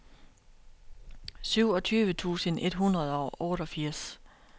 syvogtyve tusind et hundrede og otteogfirs